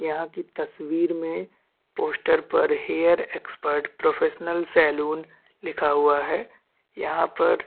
यहाँ की तस्वीर मे पोस्टर पर हैयर एक्सपर्ट प्रोफेशनल सेलून लिखा हुआ है यहाँ पर--